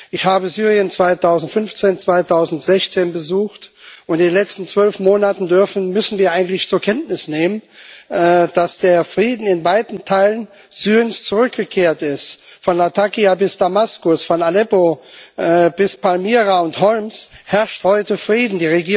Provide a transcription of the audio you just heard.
Ich habe Syrien 2015 und 2016 besucht und in den letzten zwölf Monaten dürfen müssen wir eigentlich zur Kenntnis nehmen, dass der Friede in weiten Teilen Syriens zurückgekehrt ist. Von Latakia bis Damaskus, von Aleppo bis Palmyra und Homs herrscht heute Frieden.